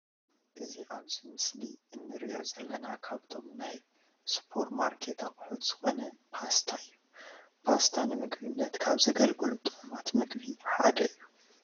እዚ ኣብዚ ምስሊ እንርእዮ ዘለና ካብቶም ናይ ስፖር ማርኬት ኣቁሑት ዝኮነ ፓስታ እዩ። ፓስታ ንምግብነት ካብ ዘገልግሉ ጥዑማት ምግቢ ሓደ እዩ።